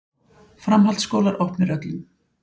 Framhaldsskólar opnir öllum